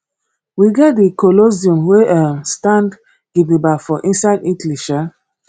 we get di colosseum wey um stand gidigba for inside italy um